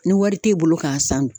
Ni wari t'e bolo k'a san dun